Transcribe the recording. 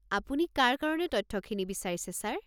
আপুনি কাৰ কাৰণে তথ্যখিনি বিচাৰিছে ছাৰ?